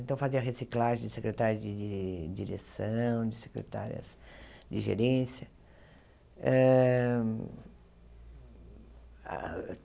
Então, eu fazia reciclagem de secretárias de de de direção, de secretárias de gerência. ham